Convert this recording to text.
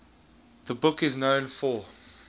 the book is known for